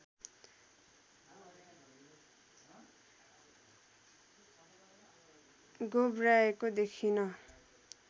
गोब्र्याएको देखिन